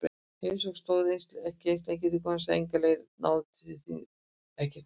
Heimsóknin stóð ekki lengi því konan sagði enga leið að ná til þín, ekki strax.